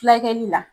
Fulakɛli la